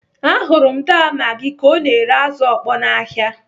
Ahụrụ m daa Magi ka ọ na-ere azụ ọkpọ n'ahịa.